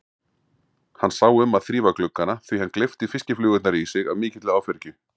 Hann sá um að þrífa gluggana því hann gleypti fiskiflugurnar í sig af mikilli áfergju.